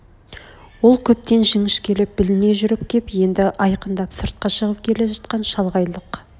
ол көптен жіңішкелеп білне жүріп кеп енді айқындап сыртқа шығып келе жатқан шалғайлық